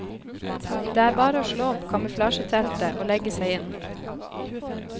Det er bare å slå opp kamuflasjeteltet og legge seg inn.